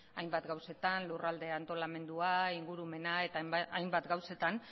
hainbat gauzetan lurralde antolamendua ingurumena eta hainbat gauzetan